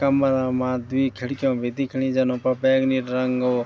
कमरा मा द्वि खिड़कीयां भी दिखणी जन उन्फर बैंगली रंगो --